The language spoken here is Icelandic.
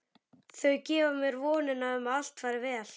Þau gefa mér vonina um að allt fari vel.